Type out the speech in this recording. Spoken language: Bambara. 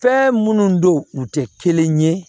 Fɛn minnu don u tɛ kelen ye